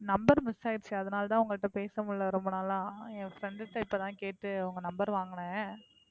number miss ஆயிடுச்சு, அதனால தான் உங்க கிட்ட பேச முடியல ரொம்ப நாளா. என் friend ட்ட இப்போ தான் கேட்டு உங்க number வாங்குனேன்.